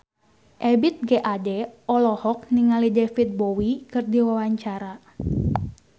Ebith G. Ade olohok ningali David Bowie keur diwawancara